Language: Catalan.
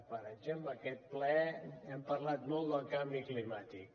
per exemple en aquest ple hem parlat molt del canvi climàtic